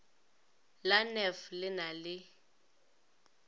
la nef le na le